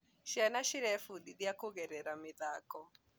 Ciana cĩraĩfundithia kũgerera mĩthako